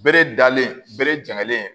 Bere dalen bere janlen